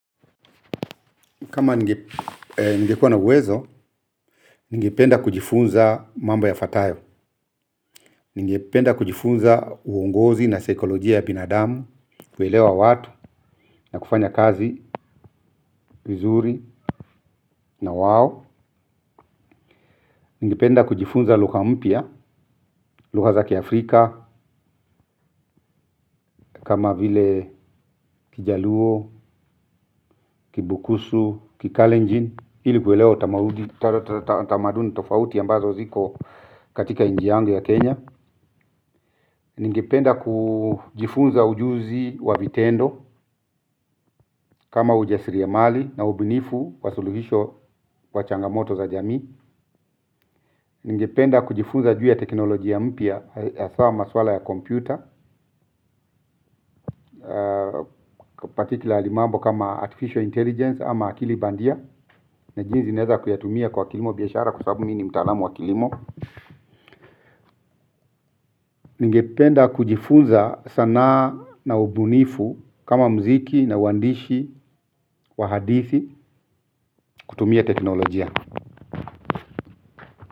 Kama nigekuwa na uwezo, nigependa kujifunza mambo yafuatayo, nigependa kujifunza uongozi na sikolojia ya binadamu, kuelewa watu na kufanya kazi, vuzuri na wao. Nigependa kujifunza lugha mpya, lugha za kiafrika, kama vile kijaluo, kibukusu, kikalenjin, hili kuelewa tamaduni tofauti ambazo ziko katika nchi yangu ya Kenya. Ningependa kujifunza ujuzi wa vitendo kama ujasiriamali na ubinifu wa suluhisho wa changamoto za jamii. Ningependa kujifunza juu ya teknoloji ya mpya ya haswa maswala ya kompyuta. Pasitila imambo kama artificial intelligence ama akili bandia. Na jinsi naweza kuyatumia kwa kilimo biashara kusabu mimi ni mtalamu wa kilimo. Ningependa kujifunza sanaa na ubinifu kama muziki na uandishi wa hadithi kutumia teknolojia. Kwa hivyo.